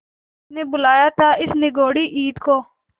किसने बुलाया था इस निगौड़ी ईद को